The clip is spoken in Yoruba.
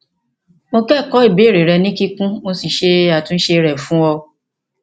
mo kẹkọọ ìbéèrè rẹ ní kíkún mo sì ṣe àtúnṣe rẹ fún ọ